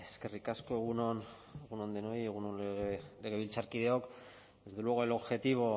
eskerrik asko egun on denoi egun on legebiltzarkideok desde luego el objetivo